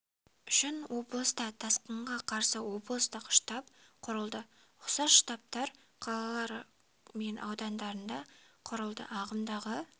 үшін облыста тасқынға қарсы облыстық штаб құрылды ұқсас штабтар қалалары мен аудандарында да құрылды ағымдағы